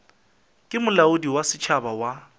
ke molaodi wa setšhaba wa